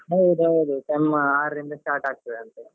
ಹೌದೌದು sem ಆರಿಂದ start ಆಗ್ತದೆ ಅಂತೆ.